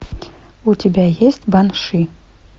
у тебя есть банши